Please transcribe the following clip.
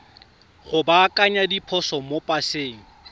go baakanya diphoso mo paseng